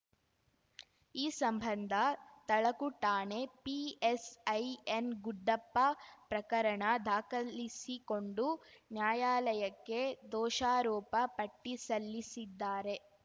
ಈ ಸಂಬಂಧ ತಳಕು ಠಾಣೆ ಪಿಎಸ್‌ಐ ಎನ್‌ಗುಡ್ಡಪ್ಪ ಪ್ರಕರಣ ದಾಖಲಿಸಿಕೊಂಡು ನ್ಯಾಯಾಲಯಕ್ಕೆ ದೋಷಾರೋಪ ಪಟ್ಟಿಸಲ್ಲಿಸಿದ್ದಾರೆ